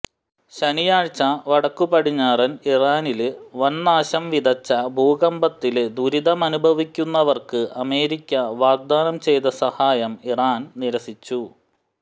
ശനിയാഴ്ച വടക്കുപടിഞ്ഞാറന് ഇറാനില് വന്നാശം വിതച്ച ഭൂകമ്പത്തില് ദുരിതമനുഭവിക്കുന്നവര്ക്ക് അമേരിക്ക വാഗ്ദാനം ചെയ്ത സഹായം ഇറാന് നിരസിച്ചു